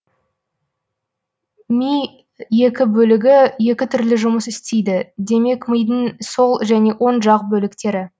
ми екі бөлігі екі түрлі жұмыс істейді демек мидың сол және оң жақ бөліктері